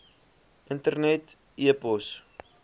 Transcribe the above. internet e pos